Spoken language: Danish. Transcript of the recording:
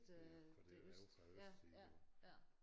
Fra derovre fra østsiden jo